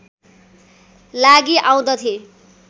लागि आउँदथे